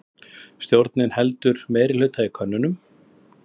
Stjórnin heldur meirihluta í könnun